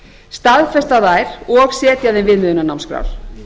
staðfesta þær og setja þeim viðmiðunarnámskrár